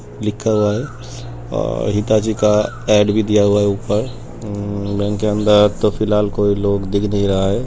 लिखा हुआ है और हिताची का ऐड भी दिया हुआ है। ऊपर और हम्म बैंक के अंदर तो फ़िलहाल कोई लोग दिख नहीं रहा है।